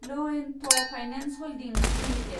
L&T finance holdings limited